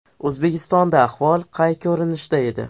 O‘zbekistonda ahvol qay ko‘rinishda edi?